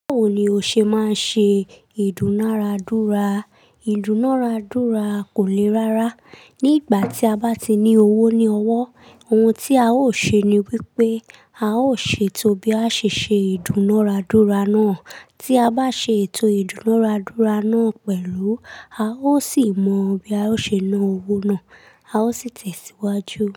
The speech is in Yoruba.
Báwo ni o ṣe máa ń ṣe ìdúnàádúrà? Ìdúnàádúrà kò le rárá. Ni igba ti a ba ti ni owo ni owo o hun ti a o se ni wipe a o se eto bi a sese idunaradura na. Tí a bá ṣe ètò ìdúnàrádúrà nà pẹ̀lú, a ó sì mọ bí a ó ṣe ná owó náà, a ó sì tẹ̀síwájú.